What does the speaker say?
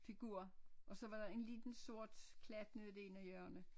Figur og så var der en lille sort klat nede i det ene hjørne